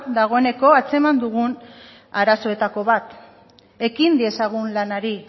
dagoeneko antzeman dugun arazoetako bat ekin diezagun lanari